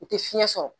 U tɛ fiɲɛ sɔrɔ